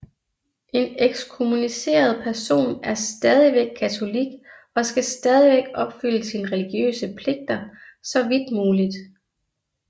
En ekskommuniceret person er stadigvæk katolik og skal stadigvæk opfylde sine religiøse pligter så vidt muligt